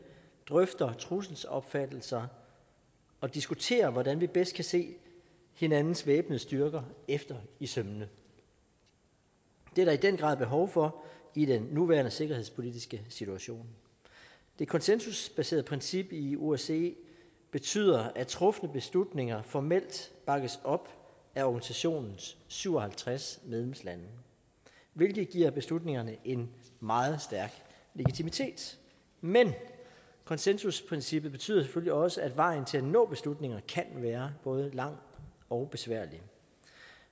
drøfter trusselsopfattelser og diskuterer hvordan vi bedst kan se hinandens væbnede styrker efter i sømmene det er der i den grad behov for i den nuværende sikkerhedspolitiske situation det konsensusbaserede princip i osce betyder at trufne beslutninger formelt bakkes op af organisationens syv og halvtreds medlemslande hvilket giver beslutningerne en meget stærk legitimitet men konsensusprincippet betyder selvfølgelig også at vejen til at nå til beslutningerne kan være både lang og besværlig